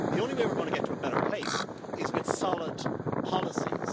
The only way we are going to get to a better place is with solid policies.